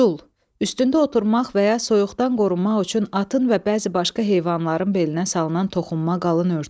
Çul, üstündə oturmaq və ya soyuqdan qorunmaq üçün atın və bəzi başqa heyvanların belinə salınan toxunma qalın örtük.